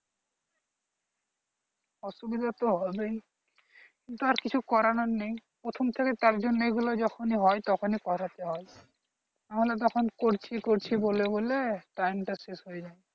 অসুবিধা তো হবেই কিন্তু আর কিছু করার নেই প্রথম থেকে তারজন্য এগুলো যখনি হয় তখনি করতে হয় নাহলে তখন করছি করছি বলে time টা শেষ হয়ে যাই